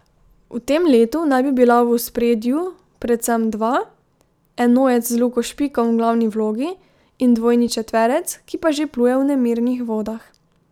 V tem letu naj bi bila v ospredju predvsem dva, enojec z Luko Špikom v glavni vlogi in dvojni četverec, ki pa že pluje v nemirnih vodah.